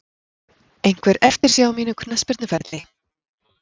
Einhver eftirsjá á mínum knattspyrnuferli?